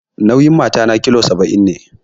Nauyin matata kilogiram saba'in ne